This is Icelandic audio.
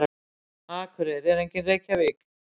Akureyri er engin Reykjavík.